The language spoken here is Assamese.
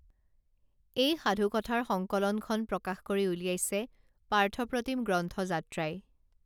এই সাধুকথাৰ সংকলনখন প্ৰকাশ কৰি উলিয়াইছে পাৰ্থপ্ৰতীম গ্ৰন্থযাত্ৰাই